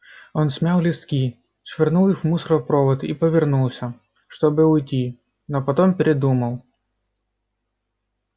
он смял листки швырнул их в мусоропровод и повернулся чтобы уйти но потом передумал